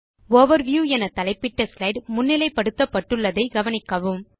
overview என தலைப்பிட்ட slide முன்னிலைப் படுத்தப்பட்டுள்ளது என கவனிக்கவும்